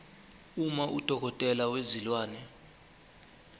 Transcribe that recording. uma udokotela wezilwane